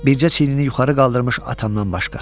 Bircə çiyrni yuxarı qaldırmış atamdan başqa.